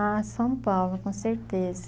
Ah, São Paulo, com certeza.